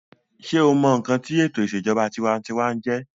sé o mọ ǹkan tí ètò ìṣèjọba tinwatinwa jẹ́?